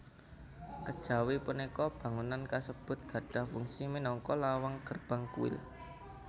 Kejawi punika bangunan kasebut gadhah fungsi minangka lawang gerbang kuil